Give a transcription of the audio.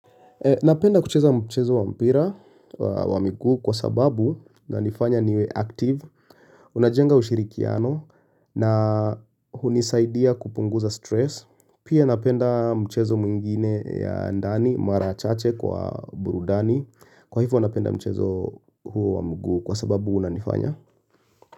Napenda kucheza mchezo wa mpira wa miguu kwa sababu inanifanya niwe active, unajenga ushirikiano na hunisaidia kupunguza stress. Pia napenda mchezo mwingine ya ndani, mara chache kwa burudani. Kwa hivyo napenda mchezo huo wa mguu kwa sababu unanifanya.